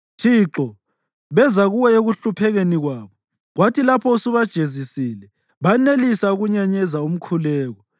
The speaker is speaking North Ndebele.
Thixo, beza kuwe ekuhluphekeni kwabo; kwathi lapho usubajezisile banelisa ukunyenyeza umkhuleko.